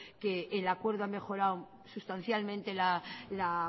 que el acuerdo ha mejorado sustancialmente la